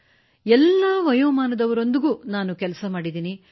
ಮತ್ತು ಎಲ್ಲ ವಯೋಮಾನದವರೊಂದಿಗೂ ನಾನು ಕೆಲಸ ಮಾಡಿದ್ದೇನೆ